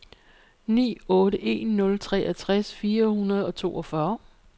ni otte en nul treogtres fire hundrede og toogfyrre